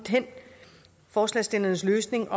forslagsstillernes løsning